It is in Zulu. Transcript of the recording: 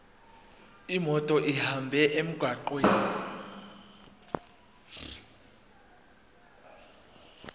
imoto ihambe emgwaqweni